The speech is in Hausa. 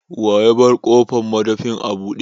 Wa yabar ƙofan madafin a bude?